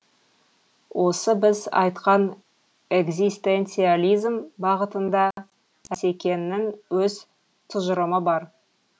осы біз айтқан экзистенциализм бағытында асекеңнің өз тұжырымы бар